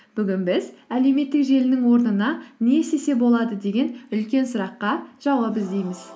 бүгін біз әлеуметтік желінің орнына не істесе болады деген үлкен сұраққа жауап іздейміз